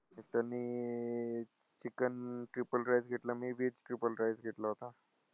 chicken triple rice घेतला मी बी triple rice घेतला होता.